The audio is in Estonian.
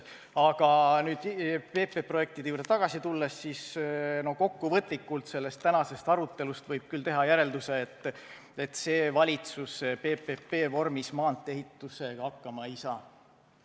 Aga nüüd PPP projektide juurde tagasi tulles, kokkuvõtlikult võib sellest tänasest arutelust küll teha järelduse, et see valitsus PPP-vormis maantee-ehitusega hakkama ei saa.